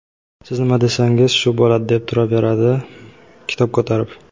siz nima desangiz shu bo‘ladi deb turaveradi kitob ko‘tarib.